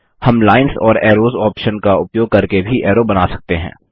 हम lines and arrows option का उपयोग करके भी ऐरो बना सकते हैं